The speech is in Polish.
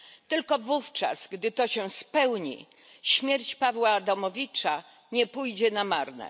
Tylko wówczas, gdy to się spełni, śmierć Pawła Adamowicza nie pójdzie na marne.